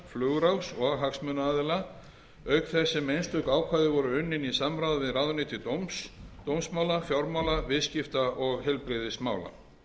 flugráðs og hagsmunaaðila auk þess sem einstök ákvæði voru unnin í samráði við ráðuneyti dómsmála fjármála viðskipta og heilbrigðismála